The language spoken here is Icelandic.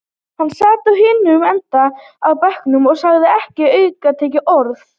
Hann sat á hinum endanum á bekknum og sagði ekki aukatekið orð.